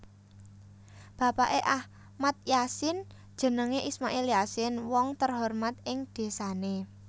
Bapake Ahmad Yasin jenenge Ismail Yasin wong terhormat ing dhesane